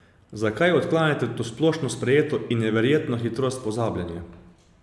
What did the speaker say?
Zakaj odklanjate to splošno sprejeto in neverjetno hitrost pozabljanja?